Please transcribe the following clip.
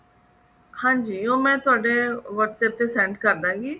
ਹਾਂਜੀ ਉਹ ਮੈਂ ਤੁਹਾਡੇ whatsapp ਤੇ send ਕਰ ਦਵਾਂਗੀ